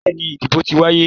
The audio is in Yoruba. Bẹ́ẹ̀ni, ìdìbò ti wáyé.